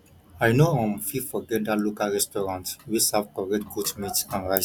i no um fit forget that local restaurant wey serve correct goat meat and rice